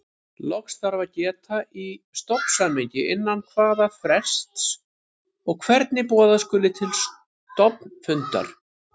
Loks þarf að geta í stofnsamningi innan hvaða frests og hvernig boða skuli til stofnfundar.